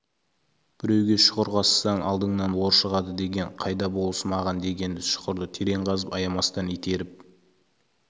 біреуге шұқыр қазсаң алдыңнан ор шығады деген қайда болыс маған деген шұқырды терең қазып аямастан итеріп